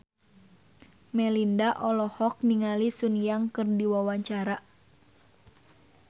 Melinda olohok ningali Sun Yang keur diwawancara